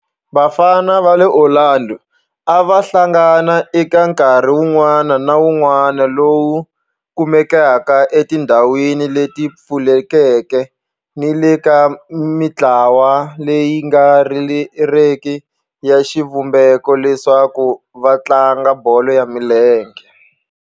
Vafana va le Orlando a va hlangana eka nkarhi wun'wana ni wun'wana lowu kumekaka etindhawini leti pfulekeke ni le ka mintlawa leyi nga riki ya xivumbeko leswaku va tlanga bolo ya milenge.